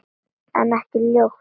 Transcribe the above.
En ekki ljót.